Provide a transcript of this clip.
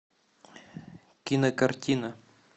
кинокартина